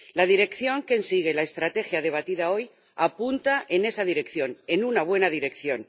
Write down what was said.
La dirección que sigue la estrategia debatida hoy apunta en esa dirección, en una buena dirección.